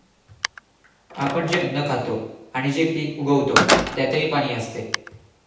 आपण जे अन्न खातो आणि जे पीक उगवतो त्यातही पाणी असते.